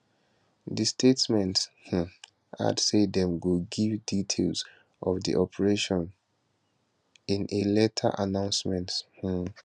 di statement um add say dem go give details of di operation in a later announcement um